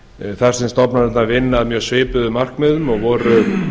þar sem stofnanirnar vinna að mjög svipuðum markmiðum og voru